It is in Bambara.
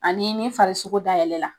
A ni ni farikolo da yɛlɛ la